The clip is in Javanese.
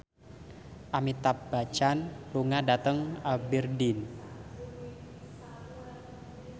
Amitabh Bachchan lunga dhateng Aberdeen